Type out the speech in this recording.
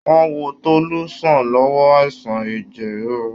Wọ́n wo Tolú sàn lọ́wọ́ àìsàn ẹjẹ rírú.